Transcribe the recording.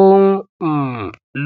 ó ń um